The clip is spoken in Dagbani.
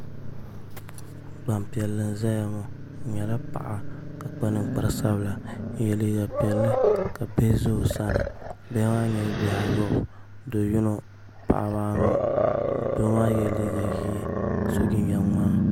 Gbanpiɛlli n ʒɛya ŋɔ o nyɛla paɣa ka kpa ninkpari sabila n yɛ liiga piɛlli ka bihi ʒɛ o sani bihi maa nyɛla bihi ayobu do yino paɣaba anu doo maa yɛla liiga ʒiɛ ka so jinjɛm ŋmaa